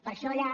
per això allà